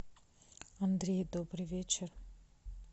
андрей добрый вечер